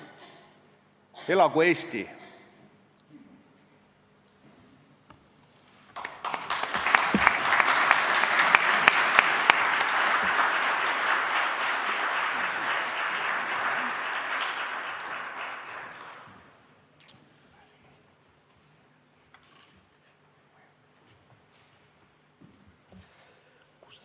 Elagu Eesti!